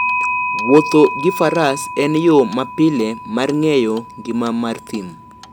Wuotho gi Faras en yo mapile mar ng'eyo ngima mar thim.